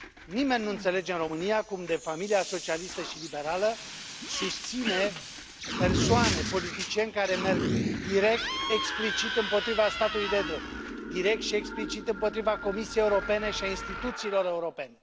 Nimeni nu înțelege în România cum de familia socialistă și liberală susține persoane, politicieni care merg direct, explicit împotriva statului de drept, direct și explicit împotriva Comisiei Europene și a instituțiilor europene.